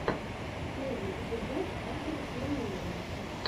первый эпизод адора плэйера